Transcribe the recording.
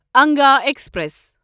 Anga express